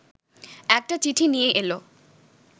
একটা চিঠি নিয়ে এল